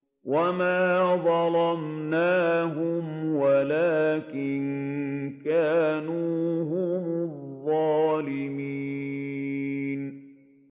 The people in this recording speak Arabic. وَمَا ظَلَمْنَاهُمْ وَلَٰكِن كَانُوا هُمُ الظَّالِمِينَ